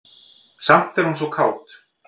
Samt er hún svo kát.